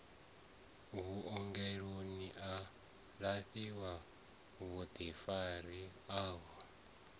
vhuongeloni a lafhiwe vhuḓifari uvho